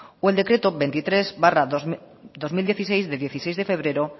o el decreto veintitrés barra dos mil dieciséis de dieciséis de febrero